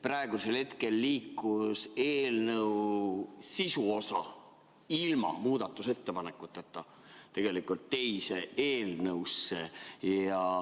Praegusel hetkel liikus eelnõu sisuosa ilma muudatusettepanekuteta tegelikult teise eelnõusse.